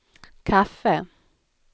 kaffe